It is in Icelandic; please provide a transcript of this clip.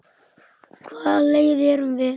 Á hvaða leið erum við?